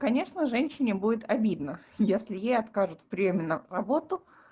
конечно женщине будет обидно если ей откажут приёме на работу